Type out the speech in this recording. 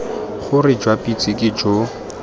gore jwa pitse ke jo